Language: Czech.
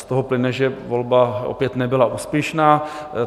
Z toho plyne, že volba opět nebyla úspěšná.